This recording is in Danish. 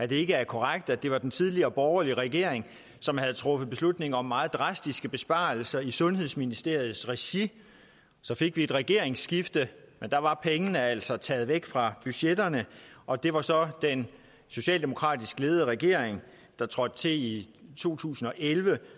det er korrekt at det var den tidligere borgerlige regering som havde truffet beslutning om meget drastiske besparelser i sundhedsministeriets regi så fik vi et regeringsskifte men da var pengene altså taget væk fra budgetterne og det var så den socialdemokratisk ledede regering der trådte til i to tusind og elleve